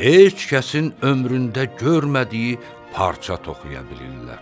heç kəsin ömründə görmədiyi parça toxuya bilirlər.